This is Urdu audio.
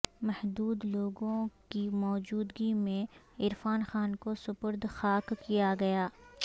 محدود لوگوں کی موجودگی میں عرفان خان کو سپرد خاک کیا گیا